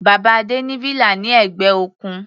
Bàbá Adé ní villa ní ẹ̀gbẹ́ òkun.